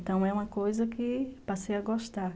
Então, é uma coisa que passei a gostar.